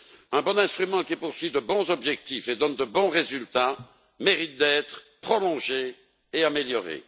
Un bon instrument qui poursuit de bons objectifs et donne de bons résultats mérite d'être prolongé et amélioré.